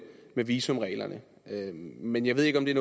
visumreglerne men jeg ved ikke om det